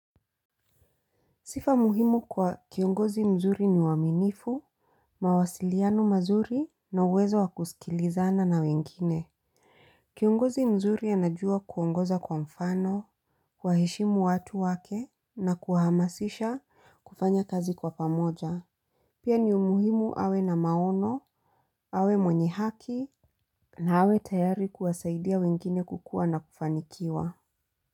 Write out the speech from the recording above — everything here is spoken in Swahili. Sifa muhimu kwa kiongozi mzuri ni waaminifu, mawasiliano mazuri, na uwezo wa kusikilizana na wengine. Kiongozi mzuri anajua kuongoza kwa mfano, huwaheshimu watu wake, na kuhamasisha kufanya kazi kwa pamoja. Pia ni muhimu awe na maono, awe mwenye haki, na awe tayari kuwasaidia wengine kukua na kufanikiwa.